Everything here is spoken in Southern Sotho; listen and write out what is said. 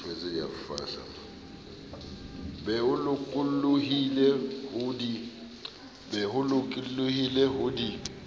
be o lokollohile ho di